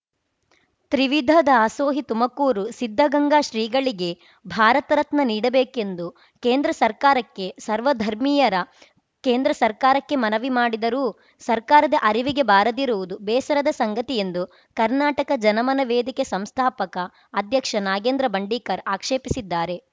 ತ್ರಿವಿಧ ದಾಸೋಹಿ ತುಮಕೂರು ಸಿದ್ಧಗಂಗಾ ಶ್ರೀಗಳಿಗೆ ಭಾರತ ರತ್ನ ನೀಡಬೇಕೆಂದು ಕೇಂದ್ರ ಸರ್ಕಾರಕ್ಕೆ ಸರ್ವಧರ್ಮೀಯರ ಕೇಂದ್ರ ಸರ್ಕಾರಕ್ಕೆ ಮನವಿ ಮಾಡಿದರೂ ಸರ್ಕಾರದ ಅರಿವಿಗೆ ಬಾರದಿರುವುದು ಬೇಸರದ ಸಂಗತಿ ಎಂದು ಕರ್ನಾಟಕ ಜನ ಮನ ವೇದಕೆ ಸಂಸ್ಥಾಪಕ ಅಧ್ಯಕ್ಷ ನಾಗೇಂದ್ರ ಬಂಡೀಕರ್‌ ಆಕ್ಷೇಪಿಸಿದ್ದಾರೆ